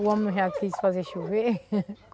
O homem não já quis fazer chover?